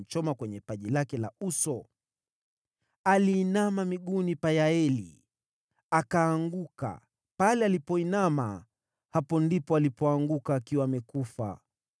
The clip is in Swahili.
Aliinama miguuni pa Yaeli, akaanguka; akalala hapo. Pale alipoinama miguuni pake, alianguka; pale alipoinamia, ndipo alipoanguka, akiwa amekufa.